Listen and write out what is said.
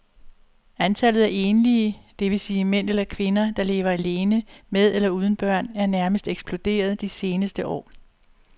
Antallet af enlige, det vil sige mænd eller kvinder, der lever alene med eller uden børn er nærmest eksploderet de seneste år.